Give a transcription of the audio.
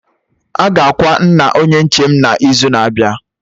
Aga akwa nna Onye nche m na izu na abịa